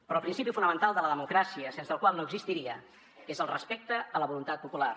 però el principi fonamental de la democràcia sense el qual no existiria és el respecte a la voluntat popular